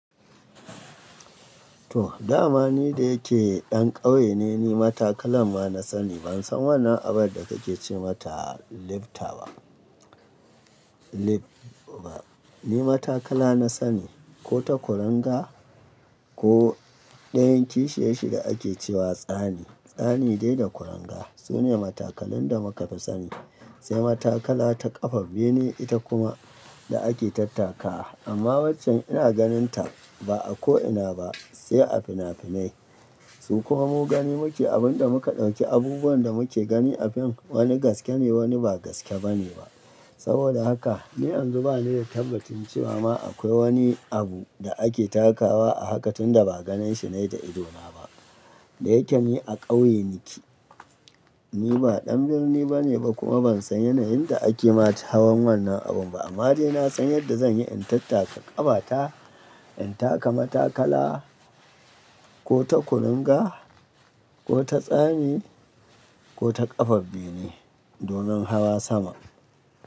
To, dama ni da yake ɗan ƙauye ne, ni matakalan ma na sani. Ban san wannan abin da kake ce mata lifta ba. Lif ba. Ni matakala na sani ko ta kwaranga ko ɗayan kishiyashi da ake cewa tsani. Tsani dai da kuranga sune matakalan da muka fi sani. Sai matakala ta ƙafa bine ita kuma da ake tattakawa. Amma wanchan ina ganin ta ba a ko'ina ba sai a fina-finai. Su kuma mu gani muke abin da muka ɗauki abubuwan da muke gani a fim wani gaske ne wani ba gaske ba ne ba. Saboda haka, ni yanzu ba ni da tabbacin cewa ma akwai wani abu da ake takawa a haka tunda ba ganinshi na yi da idona ba. Da yake ni a ƙauye nake. Ni ba ɗan birni ba ne ba kuma ban san yanayin da ake ma hawan wannan abun ba. Amma dai na san yadda zan yi in tattaka ƙafata, in taka matakala ko ta kwaranga ko ta tsani ko ta ƙafan ne domin hawa sama.